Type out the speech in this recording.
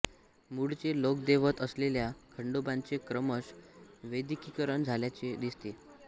मूळचे लोकदैवत असलेल्या खंडोबाचे क्रमश वैदिकीकरण झाल्याचे दिसते